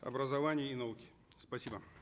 образования и науки спасибо